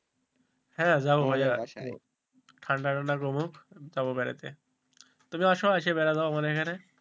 হ্যাঁ যাবো ঠান্ডা টান্ডা কমুক যাবো বেড়াতে। তুমি আছো এসে বেড়া যাও আমার এখানে,